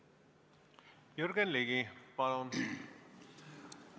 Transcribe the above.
Jürgen Ligi, palun!